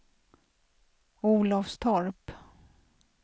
Olofstorp